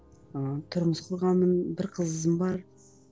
ыыы тұрмыс құрғанмын бір қызым бар